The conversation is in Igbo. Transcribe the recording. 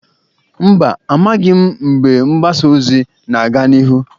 Mba, amaghị m mgbe mgbasa ozi na-aga n'ihu.